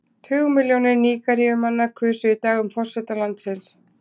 Tugmilljónir Nígeríumanna kusu í dag um forseta landsins.